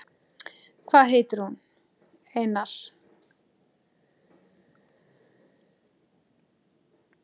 Hvað heitir hún, Einar?